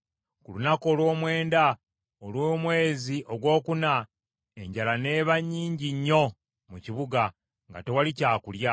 Ku lunaku olw’omwenda olw’omwezi ogwokuna enjala n’eba nnyingi nnyo mu kibuga nga tewaali kyakulya.